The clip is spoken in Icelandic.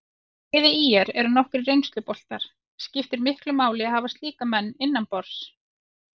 Í liði ÍR eru nokkrir reynsluboltar, skiptir miklu máli að hafa slíka leikmenn innanborðs?